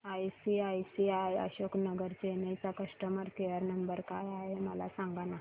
ICICI Ashok Nagar Chennai चा customer care number काय आहे मला सांगाना